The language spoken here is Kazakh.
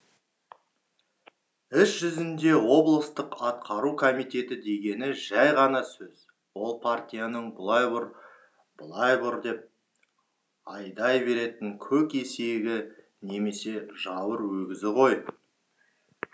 іс жүзінде облыстық атқару комитеті дегені жәй ғана сөз ол партияның бұлай бұр былай бұр деп айдай беретін көк есегі немесе жауыр өгізі ғой